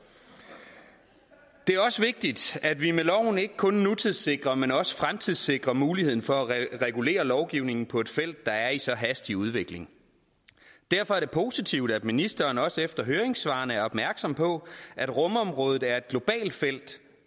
det er også vigtigt at vi med loven ikke kun nutidssikrer men også fremtidssikrer muligheden for at regulere lovgivningen på et felt der er i så hastig udvikling derfor er det positivt at ministeren også efter høringssvarene er opmærksom på at rumområdet er et globalt felt